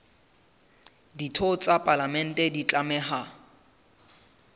ditho tsa palamente di tlameha